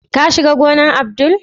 ka shiga gonan Abdul?